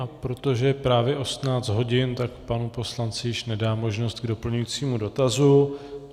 A protože je právě 18 hodin, tak panu poslanci již nedám možnost k doplňujícímu dotazu.